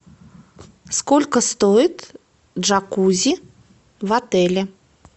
сколько стоит джакузи в отеле